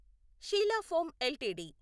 Sheela foam LTD